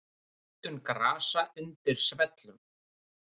Öndun grasa undir svellum.